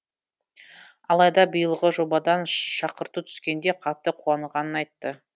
алайда биылғы жобадан шақырту түскенде қатты қуанғанын айтты